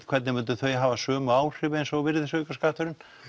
hvernig myndu þau hafa sömu áhrif eins og virðisaukaskatturinn